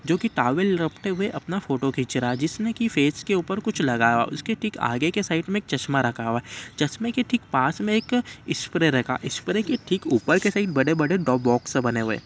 जोकि टॉवल रखते हुए अपना फोटो खींच रहा है जिसने कि फेस के ऊपर कुछ लगाया हुआ है। उसके ठीक आगे की साइड में चस्मा रखा हुआ है। चश्मे के ठीक पास में एक स्प्रे रखा। स्प्रे के ठीक ऊपर के साइड बड़े-बड़े दो बॉक्स बने हुए हैं।